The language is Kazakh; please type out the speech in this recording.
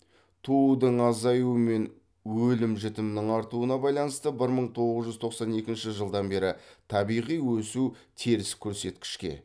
туудың азаюы мен өлім жітімнің артуына байланысты бір мың тоғыз жүз тоқсан екінші жылдан бері табиғи өсу теріс көрсеткішке